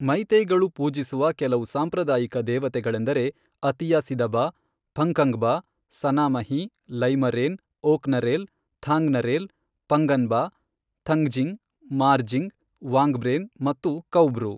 ಮೈತೈಗಳು ಪೂಜಿಸುವ ಕೆಲವು ಸಾಂಪ್ರದಾಯಿಕ ದೇವತೆಗಳೆಂದರೆ ಅತಿಯಾ ಸಿದಬಾ, ಪಖಂಗ್ಬಾ, ಸನಾಮಹಿ, ಲೈಮರೇನ್, ಓಕ್ನರೇಲ್, ಥಾಂಗ್ನರೇಲ್, ಪಂಗನ್ಬಾ, ಥಂಗ್ಜಿಂಗ್, ಮಾರ್ಜಿಂಗ್, ವಾಂಗ್ಬ್ರೇನ್ ಮತ್ತು ಕೌಬ್ರು.